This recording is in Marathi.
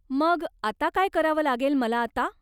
मग, आता काय करावं लागेल मला आता?